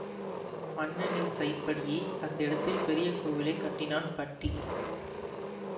மன்னனின் சைப்படியே அந்த இடத்தில் பெரிய கோவிலை கட்டினான் பட்டி